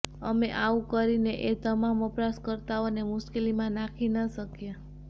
અમે આવુ કરીને એ તમામ વપરાશ કર્તાઓને મુશ્કેલીમાં નાખી ન શકીએ